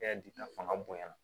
fanga bonyana